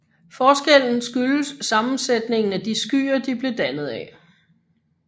Forskellen skyldes sammensætningen af de skyer de blev dannet af